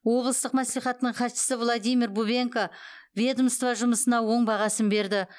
облыстық мәслихаттың хатшысы владимир бубенко ведомство жұмысына оң бағасын берді